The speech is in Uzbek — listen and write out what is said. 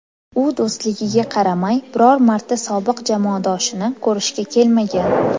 U do‘stligiga qaramay, biror marta sobiq jamoadoshini ko‘rishga kelmagan.